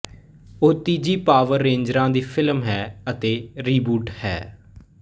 ਇਹ ਤੀਜੀ ਪਾਵਰ ਰੇਂਜਰਾਂ ਦੀ ਫ਼ਿਲਮ ਹੈ ਅਤੇ ਰੀਬੂਟ ਹੈ